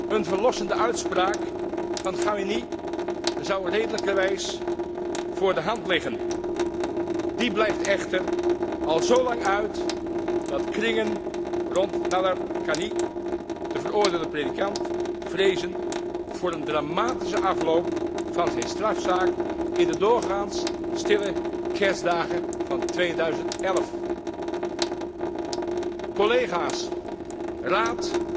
Een verlossende uitspraak van Khamenei zou redelijkerwijs voor de hand liggen. Die blijft echter al zo lang uit dat kringen rond Nadarkhani, de veroordeelde predikant, vrezen voor een dramatische afloop van zijn strafzaak in de doorgaans stille kerstdagen van 2011. Collega's, Raad,